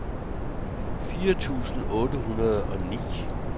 fire tusind otte hundrede og ni